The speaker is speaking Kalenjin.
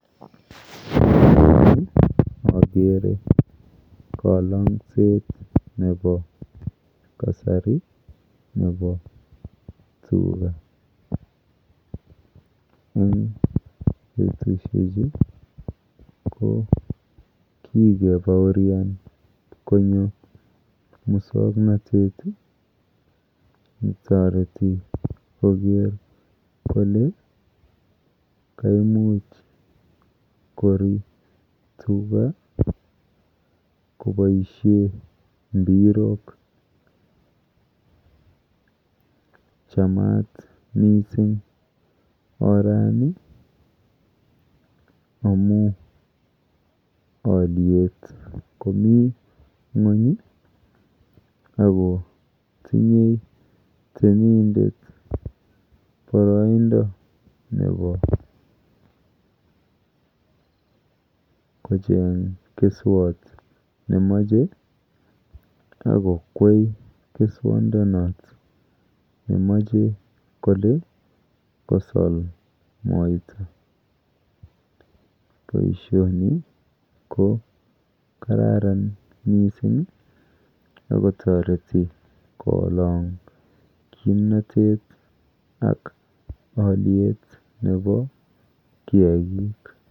Eng yu akere kalang'set nepo kasari nepo tuga. Eng betushechu ko kikepaorian konyo mosoknotet netoreti koker kole kaimuch kori tuga koboishe mbirok. Chamat mising orani amu alyet komi ng'uny ako tinye temindet boroindo nepo kocheng keswot nemoche akokwei keswondonot nemoche kole kosol moita. Boishoni ko kararan mising akotoreti kolong kimnotet ak alyet nepo kiakik.